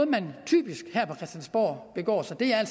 man typisk begår sig her